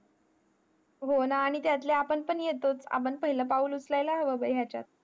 हो ना आणि तेथले आपण पण येतोय आपण पहिल्या पाऊल उकळायला हवा बघ हिच्यात